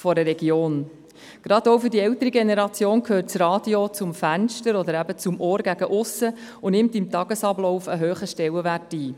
Gerade auch für die ältere Generation gehört das Radio zum Fenster oder zum Ohr zur Aussenwelt und nimmt im Tagesablauf einen hohen Stellenwert ein.